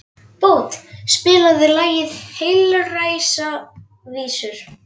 Bót, spilaðu lagið „Heilræðavísur“.